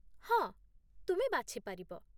ହଁ, ତୁମେ ବାଛି ପାରିବ